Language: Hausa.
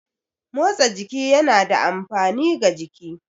Motsa jiki yana da amfani ga jiki.